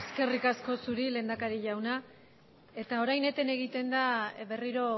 eskerrik asko zuri lehendakari jauna eta orain eten egiten da berriro